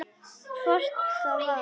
Hvort það var!